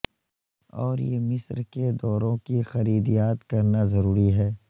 اور یہ مصر کے دوروں کی خرید یاد کرنا ضروری ہے